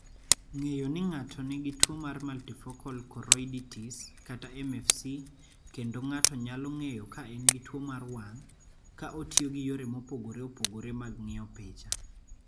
Ng�eyo ni ng�ato nigi tuo mar multifocal choroiditis (MFC) kendo ng�ato nyalo ng�eyo ka en gi tuo mar wang�, ka otiyo gi yore mopogore opogore mag ng�iyo picha.